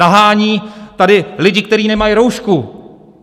Nahání tady lidi, kteří nemají roušku.